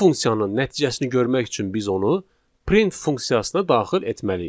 Bu funksiyanın nəticəsini görmək üçün biz onu print funksiyasına daxil etməliyik.